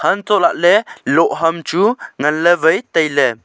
untoh lahley lohham chu nganley wai tailey.